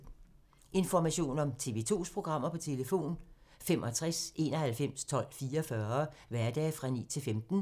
Information om TV 2's programmer: 65 91 12 44, hverdage 9-15.